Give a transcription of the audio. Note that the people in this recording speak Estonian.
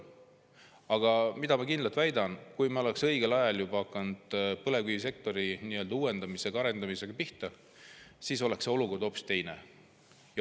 Aga ma väidan kindlalt, et kui me oleks õigel ajal hakanud põlevkivisektori uuendamise ja arendamisega pihta, siis oleks olukord hoopis teine.